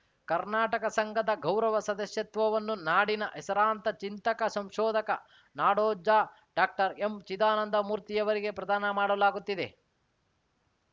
ಕರ್ನಾಟಕ ಸಂಘದ ಗೌರವ ಸದಸ್ಯತ್ವವನ್ನು ನಾಡಿನ ಹೆಸರಾಂತ ಚಿಂತಕ ಸಂಶೋಧಕ ನಾಡೋಜ ಡಾಕ್ಟರ್ ಎಂ ಚಿದಾನಂದ ಮೂರ್ತಿಯವರಿಗೆ ಪ್ರದಾನ ಮಾಡಲಾಗುತ್ತಿದೆ